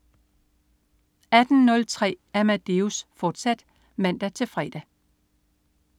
18.03 Amadeus, fortsat (man-fre)